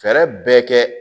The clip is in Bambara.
Fɛɛrɛ bɛɛ kɛ